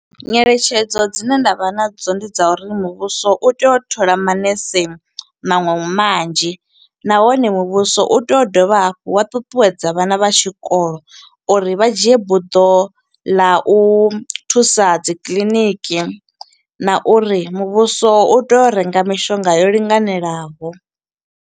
Nyeletshedzo dzine nda vha na dzo ndi dza uri muvhuso u tea u thola manese maṅwe manzhi. Nahone muvhuso u tea u dovha hafhu wa ṱuṱuwedza vhana vha tshikolo uri vha dzhie buḓo ḽa u thusa dzi kiḽiniki, na uri muvhuso u tea u renga mishonga yo linganelaho.